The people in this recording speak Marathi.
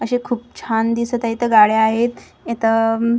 असे खूप छान दिसतं आहे. इथं गाड्या आहेत. इथं--